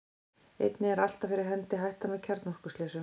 einnig er alltaf fyrir hendi hættan á kjarnorkuslysum